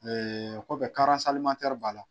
Ee ko bɛ b'a la.